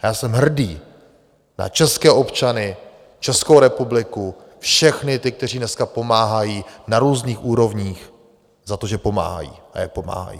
A já jsem hrdý na české občany, Českou republiku, všechny ty, kteří dneska pomáhají na různých úrovních, za to, že pomáhají a jak pomáhají.